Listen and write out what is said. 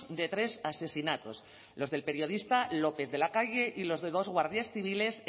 de tres asesinatos los del periodista lópez de la calle y los de dos guardias civiles